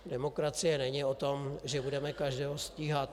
Demokracie není o tom, že budeme každého stíhat.